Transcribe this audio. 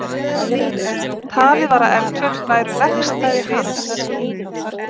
Talið var að eldfjöll væru verkstæði hans.